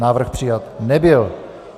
Návrh přijat nebyl.